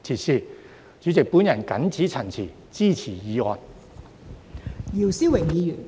代理主席，我謹此陳辭，支持議案。